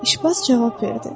İşbaz cavab verdi.